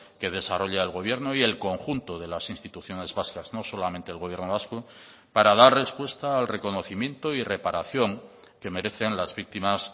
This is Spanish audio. que desarrolla el gobierno y el conjunto de las instituciones vascas no solamente el gobierno vasco para dar respuesta al reconocimiento y reparación que merecen las víctimas